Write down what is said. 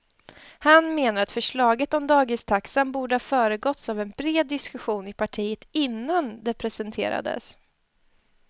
Han menar att förslaget om dagistaxan borde ha föregåtts av en bred diskussion i partiet innan det presenterades.